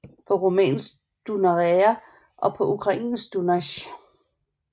På rumænsk Dunărea og på ukrainsk Dunaj